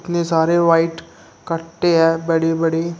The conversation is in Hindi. कितने सारे व्हाइट कट्टे हैं बड़ी बड़ी--